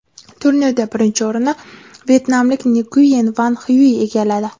Turnirda birinchi o‘rinni vyetnamlik Nguyen Van Xyuy egalladi.